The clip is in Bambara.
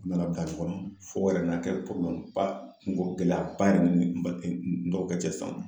U nana bila ɲɔgɔnna fɔ a yɛrɛ na kɛ kungo gɛlɛyaba yɛrɛ de ni n dɔgɔkɛ cɛ sisan